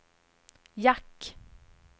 jack